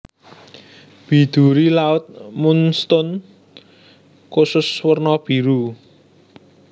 Biduri laut moonstone kusus werna biru